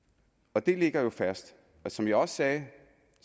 og det ligger jo fast som jeg sagde